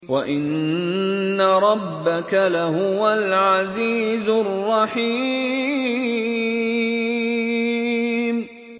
وَإِنَّ رَبَّكَ لَهُوَ الْعَزِيزُ الرَّحِيمُ